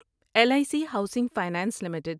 L I C housing finance limited